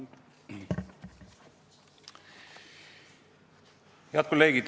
Head kolleegid!